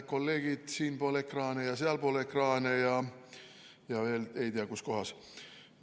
Kolleegid siinpool ekraani ja sealpool ekraani ja ei tea veel, kus kohas!